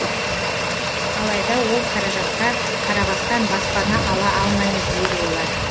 алайда ол қаражатқа қарабастан баспана ала алмаймыз дейді олар